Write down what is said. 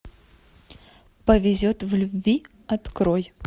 повезет в любви открой